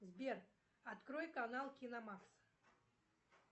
сбер открой канал киномакс